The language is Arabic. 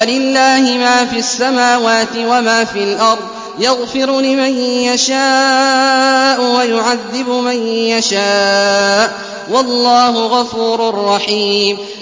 وَلِلَّهِ مَا فِي السَّمَاوَاتِ وَمَا فِي الْأَرْضِ ۚ يَغْفِرُ لِمَن يَشَاءُ وَيُعَذِّبُ مَن يَشَاءُ ۚ وَاللَّهُ غَفُورٌ رَّحِيمٌ